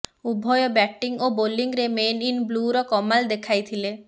ଉଭୟ ବ୍ୟାଟିଂ ଓ ବୋଲିଂରେ ମେନ୍ ଇନ୍ ବ୍ଲୁର କମାଲ୍ ଦେଖାଇଥିଲେ